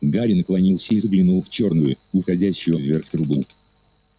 гарри наклонился и заглянул в чёрную уходящую вверх трубу